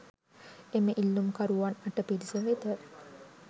එම ඉල්ලුම්කරුවන් අට පිරිස වෙත